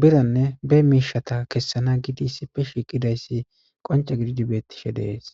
biranne be miishata kessana gidi issife shiiqidayssi qonca gididi bettishe dees